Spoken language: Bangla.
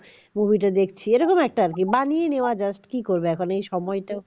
movie টা দেখছি এরকম আর একটা আরকি মানিয়ে নেওয়া যায় কি করবো এখন এই সময়টা